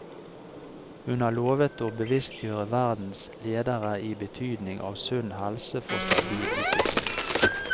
Hun har lovet å bevisstgjøre verdens ledere i betydningen av sunn helse for stabil utvikling.